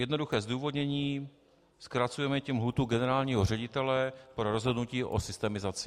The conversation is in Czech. Jednoduché zdůvodnění: zkracujeme tím lhůtu generálního ředitele pro rozhodnutí o systemizaci.